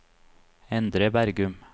Endre Bergum